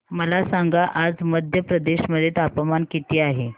मला सांगा आज मध्य प्रदेश मध्ये तापमान किती आहे